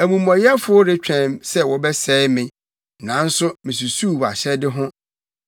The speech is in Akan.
Amumɔyɛfo retwɛn sɛ wɔbɛsɛe me, nanso, misusuw wʼahyɛde ho.